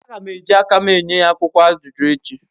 Agam eji akam enyeya akwukwo ajuju echi